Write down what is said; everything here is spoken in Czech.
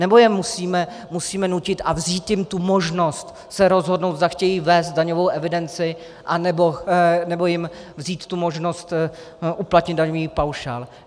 Nebo je musíme nutit a vzít jim tu možnost se rozhodnout, zda chtějí vést daňovou evidenci, anebo jim vzít tu možnost uplatnit daňový paušál?